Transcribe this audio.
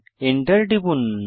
enter টিপুন